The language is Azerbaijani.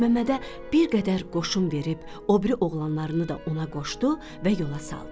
Məlikməmmədə bir qədər qoşun verib o biri oğlanlarını da ona qoşdu və yola saldı.